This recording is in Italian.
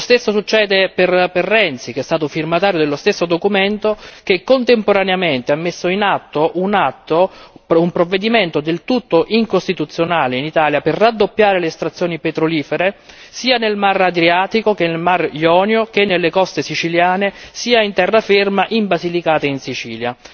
Lo stesso succede per Renzi, che è stato firmatario dello stesso documento, che contemporaneamente ha messo in atto un provvedimento del tutto anticostituzionale in Italia per raddoppiare le estrazioni petrolifere sia nel Mar Adriatico sia nel Mar Ionio che nelle coste siciliane, sia in terraferma in Basilicata e in Sicilia.